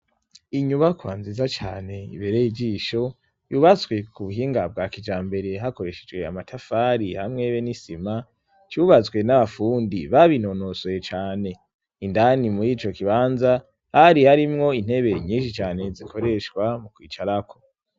Inyubakwa nziza cane ibereye ijisho yubatswe ku buhinga bwa kija mbere hakoreshejwe amatafari hamwebe n'isima cubatswe n'abafundi babinonosoye cane indani muri ico kibanza ari harimwo intebe nyinshi cane zikoreshwa mu kwicarako.